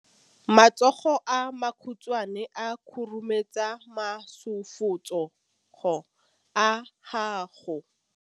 matsogo a makhutshwane a khurumetsa masufutsogo a gago